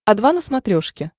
о два на смотрешке